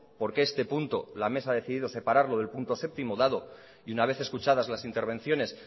por qué este punto la mesa ha decidido separarlo del punto séptimo dado y una vez escuchadas las intervenciones